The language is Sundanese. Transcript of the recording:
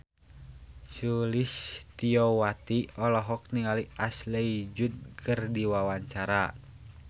Sulistyowati olohok ningali Ashley Judd keur diwawancara